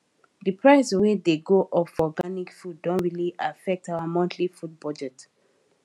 di price wey dey go up for organic food don really affect our monthly food budget